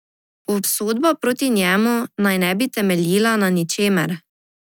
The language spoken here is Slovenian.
Obsodba proti njemu naj ne bi temeljila na ničemer.